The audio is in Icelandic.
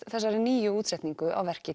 þessari nýju útsetningu á verki